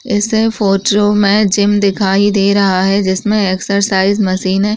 इस फोटो में जिम दिखाई दे रहा है जिसमें एक्सरसाइज मशीने --